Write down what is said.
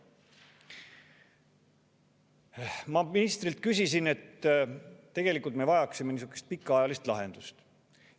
Ma ministrile, et tegelikult me vajaksime pikaajalist lahendust.